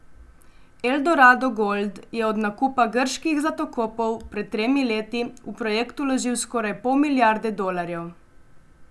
Eldorado Gold je od nakupa grških zlatokopov pred tremi leti v projekt vložil skoraj pol milijarde dolarjev.